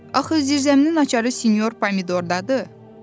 "Axı zirzəminin açarı sinyor Pomidordadır.